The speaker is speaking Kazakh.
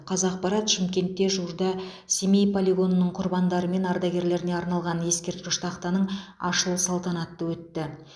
қазақпарат шымкентте жуырда семей полигонының құрбандары мен ардагерлеріне арналған ескерткіш тақтаның ашылу салтанаты өтті